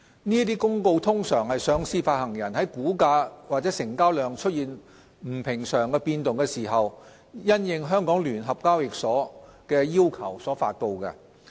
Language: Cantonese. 這些公告通常是上市發行人在股價或成交量出現不尋常變動時，因應香港聯合交易所的要求所發布。